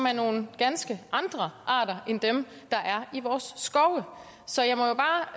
er nogle ganske andre arter end dem der er i vores skove så jeg må jo bare